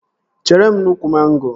Chere m n'úkwù mango